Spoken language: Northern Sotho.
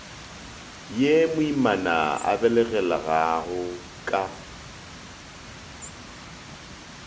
ye moimana a belegelaago ka